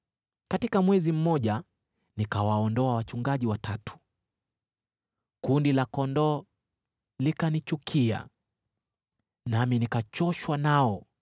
Katika mwezi mmoja nikawaondoa wachungaji watatu. Kundi la kondoo likanichukia, nami nikachoshwa nao,